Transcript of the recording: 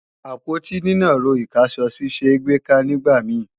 Àpótí nínàró ìkáṣọsí ṣé gbèéká nígbà mi